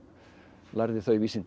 lærði þau vísindi í